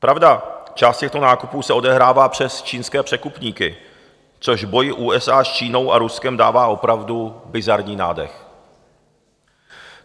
Pravda, část těchto nákupů se odehrává přes čínské překupníky, což boji USA s Čínou a Ruskem dává opravdu bizarní nádech.